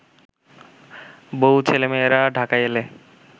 বউ-ছেলেমেয়েরা ঢাকায় এলে